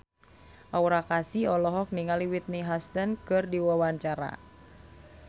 Aura Kasih olohok ningali Whitney Houston keur diwawancara